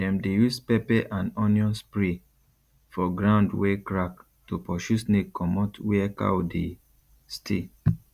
dem dey use pepper and onion spray for ground wey crack to pursue snake comot where cow dey stay